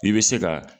I bɛ se ka